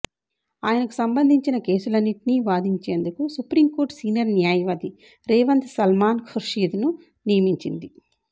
ఆయనకు సంబంధించిన కేసులన్నింటిని వాదించేందుకు సుప్రీంకోర్టు సీనియర్ న్యాయవాది రేవంత్ సల్మాన్ ఖుర్షీద్ ను నియమిచింది